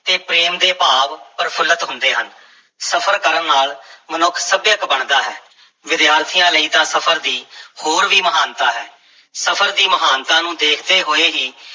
ਤੇ ਪ੍ਰੇਮ ਦੇ ਭਾਵ ਪ੍ਰਫੁੱਲਤ ਹੁੰਦੇ ਹਨ, ਸਫ਼ਰ ਕਰਨ ਨਾਲ ਮਨੁੱਖ ਸੱਭਿਅਕ ਬਣਦਾ ਹੈ, ਵਿਦਿਆਰਥੀਆਂ ਲਈ ਤਾਂ ਸਫ਼ਰ ਦੀ ਹੋਰ ਵੀ ਮਹਾਨਤਾ ਹੈ, ਸਫਰ ਦੀ ਮਹਾਨਤਾ ਨੂੰ ਦੇਖਦੇ ਹੋਏ ਹੀ